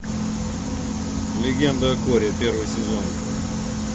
легенда о корре первый сезон